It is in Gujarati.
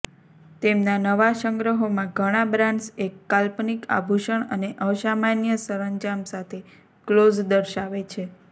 તેમના નવા સંગ્રહોમાં ઘણા બ્રાન્ડ્સ એક કાલ્પનિક આભૂષણ અને અસામાન્ય સરંજામ સાથે ક્લોઝ દર્શાવે છે